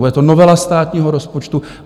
Bude to novela státního rozpočtu?